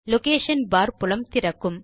location bar புலம் திறக்கும்